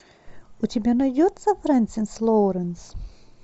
у тебя найдется френсис лоуренс